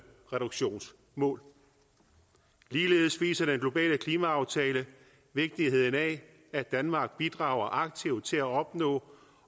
reduktionsmål ligeledes viser den globale klimaaftale vigtigheden af at danmark bidrager aktivt til at opnå